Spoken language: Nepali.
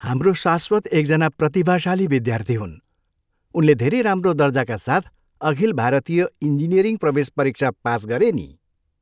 हाम्रो शाश्वत एकजना प्रतिभाशाली विद्यार्थी हुन्! उनले धेरै राम्रो दर्जाका साथ अखिल भारतीय इन्जिनियरिङ प्रवेश परीक्षा पास गरे नि।